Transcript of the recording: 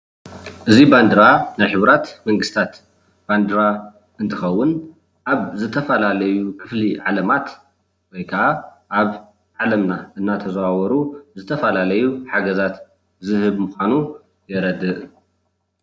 እዚ ባንዴራ ናይ ሕቡራት መንግስትታት ባንደራ እንትከውን ኣብ ዝተፈላለዩ ክፍሊ ዓለማት ወይ ከዓ ኣብ ዓለምና እንዳተዛዋወሩ ዝተፈላለዩ ሓገዛት ዝህብ ምኳኑ የርድእ፡፡